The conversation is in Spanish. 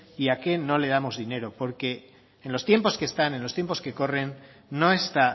y a qué no le damos dinero porque en los tiempos que están en los tiempos que corren no está